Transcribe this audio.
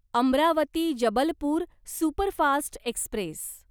Amravati Jabalpur superfast Express